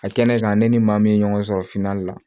A kɛ ne kan ne ni maa min ye ɲɔgɔn sɔrɔ finan la